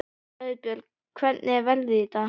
Auðbjört, hvernig er veðrið í dag?